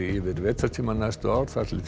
yfir vetrartímann næstu ár þar til